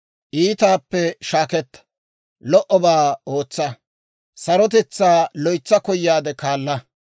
Iitaappe shaaketta; lo"obaa ootsa; sarotetsaa loytsa koyaadde kaala.